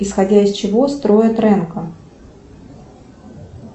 исходя из чего строят рэнко